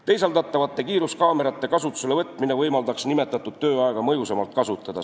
Teisaldatavate kiiruskaamerate kasutusele võtmine võimaldaks tööaega mõjusamalt kasutada.